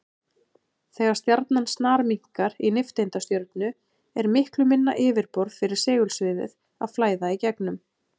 Þegar stjarnan snarminnkar í nifteindastjörnu er miklu minna yfirborð fyrir segulsviðið að flæða í gegnum.